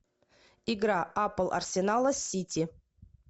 игра апл арсенала с сити